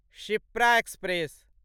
Shipra express